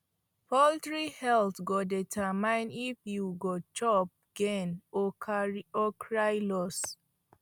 poultry health go determine if you go chop gain or cry loss